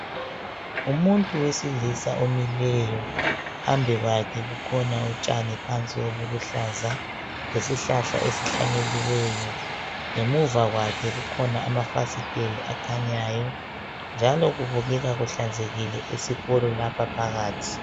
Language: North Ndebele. Umuntu wesilisa omileyo phambi kwakhe kukhona utshani phansi obuluhlaza lesihlahla esihlanyeliweyo ngemuva kwakhe kukhona amafasitela akhanyayo njalo kubukeka kuhlanzekile esikolo lapha phakathi.